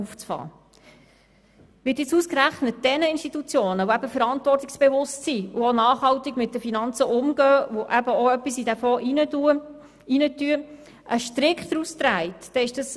Es ist absurd, wenn jetzt ausgerechnet denjenigen Institutionen, die verantwortungsbewusst sind, nachhaltig mit den Finanzen umgehen und eben auch etwas in diesen Fonds legen, ein Strick daraus gedreht wird.